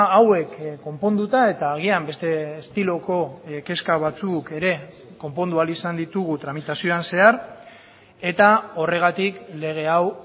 hauek konponduta eta agian beste estiloko kezka batzuk ere konpondu ahal izan ditugu tramitazioan zehar eta horregatik lege hau